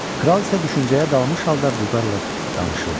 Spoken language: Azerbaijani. Kral isə düşüncəyə dalmış halda vüqarla danışırdı: